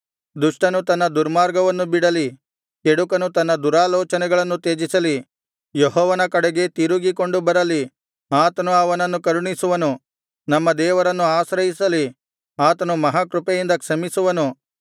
ದುಷ್ಟನು ತನ್ನ ದುರ್ಮಾರ್ಗವನ್ನು ಬಿಡಲಿ ಕೆಡುಕನು ತನ್ನ ದುರಾಲೋಚನೆಗಳನ್ನು ತ್ಯಜಿಸಲಿ ಯೆಹೋವನ ಕಡೆಗೆ ತಿರುಗಿಕೊಂಡು ಬರಲಿ ಆತನು ಅವನನ್ನು ಕರುಣಿಸುವನು ನಮ್ಮ ದೇವರನ್ನು ಆಶ್ರಯಿಸಲಿ ಆತನು ಮಹಾಕೃಪೆಯಿಂದ ಕ್ಷಮಿಸುವನು